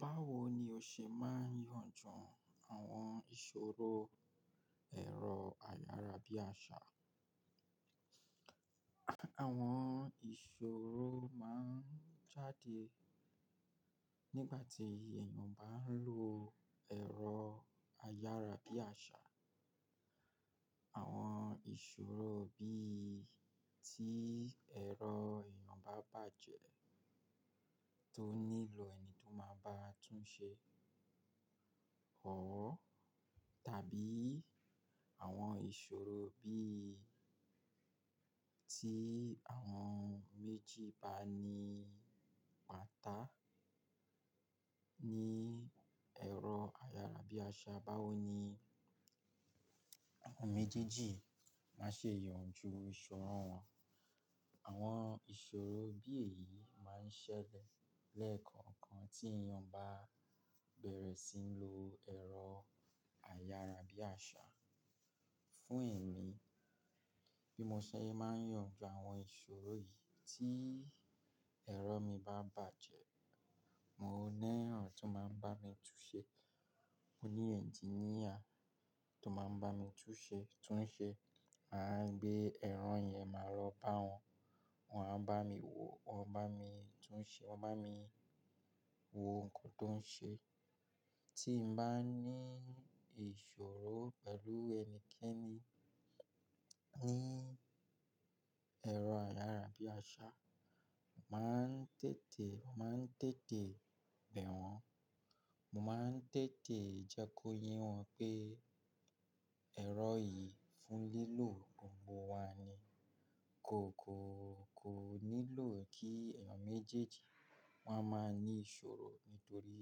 Báwo ni o ṣe máa ń yanjú àwọn ìṣòro ẹ̀rọ ayárabíàṣá? Àwọn ìṣòro máa ń jáde nígbà tí èèyàn bá ń lo ẹ̀rọ ayárabíàṣá. Àwọn ìṣòro bíi tí ẹ̀rọ èèyàn bá bàjẹ́ tó nílò ẹni tó máa bá tún un ṣe or tàbí àwọn ìṣòro bíi tí àwọn méjì bá ní pàtàkì ní ẹ̀rọ ayárabíàṣá. Báwo ni àwọn méjèèjì máa ṣe yanjú ìṣòro wọn? Àwọn ìṣòro bí èyí máa ń ṣẹlẹ̀ lẹ́ẹ̀kan kan tí èèyàn bá bẹ̀rẹ̀ sí n lo ẹ̀rọ ayárabíàṣá. Fún èmi, bí mo ṣe máa ń yanjú àwọn ìṣòro yìí tí ẹ̀rọ mi bá bàjẹ́, mo ní ran tó máa ń bá mi tún un ṣe. Mo ní engineer tó máa ń bá mi túnṣe, túnṣe, màá gbé ẹ̀rọ yẹn máa rọ bá wọn, wọ́n á bá mi wo, wọ́n bá mi túnṣe, wọ́n bá mi wo nǹkan tó ń ṣe. Tí n bá ní ìṣòro pẹ̀lú ẹnikẹ́ni ní ẹ̀rọ ayárabíàṣá, màá ń tètè, mo máa ń tètè bẹ̀ wọ́n. Mo máa ń tètè jẹ́ kó yé wọn pé ẹ̀rọ yìí fún lílò gbogbo wa ni, kò, kò, kò nílò kí èèyàn méjèèjì wọ́n máa ní ìṣòro nítorí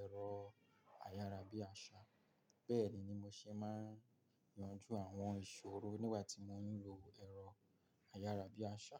ẹ̀rọ ayárabíàṣá. Bẹ́ẹ̀ ni mo ṣe máa ń yanjú àwọn ìṣòro nígbà tí mò ń lo ẹ̀rọ ayárabíàṣá.